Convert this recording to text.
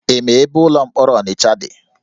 Ị ma ebe ụlọ mkpọrọ Ọnịcha dị?